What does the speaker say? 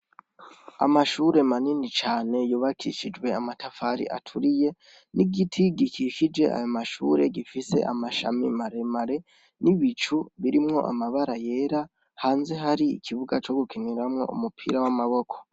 Amashure manini cane yubakishijwe amatafari aturiye n'igiti gikikije ayo mashure gifise amashami maremare n'ibicu birimwo amabara yera hanze hari ikibuga co gukiniramwo umupira w'amaboko.